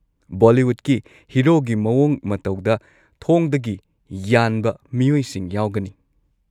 ꯕꯣꯂꯤꯋꯨꯗꯀꯤ ꯍꯤꯔꯣꯒꯤ ꯃꯑꯣꯡ ꯃꯇꯧꯗ ꯊꯣꯡꯗꯒꯤ ꯌꯥꯟꯕ ꯃꯤꯑꯣꯏꯁꯤꯡ ꯌꯥꯎꯒꯅꯤ꯫